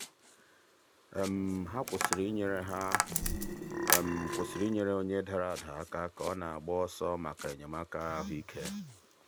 ha kwụsịrị inyere ha kwụsịrị inyere onye dara ada aka ka ọ na-agba ọsọ maka enyemaka ahụike.